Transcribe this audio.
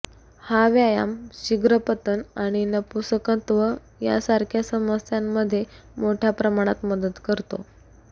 हा व्यायाम शीघ्रपतनआणि नपुंसकत्व सारख्या समस्यांमध्ये मोठ्या प्रमाणात मदत करतो